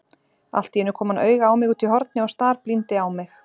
Alltíeinu kom hann auga á mig útí horni og starblíndi á mig.